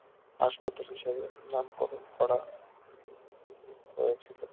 হাসপাতাল হিসাবে নামকরণ করা হয়েছিল